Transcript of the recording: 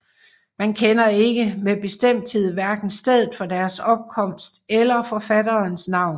Man kender ikke med bestemthed hverken stedet for deres opkomst eller forfatterens navn